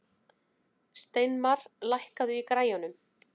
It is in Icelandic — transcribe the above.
Steinmar, lækkaðu í græjunum.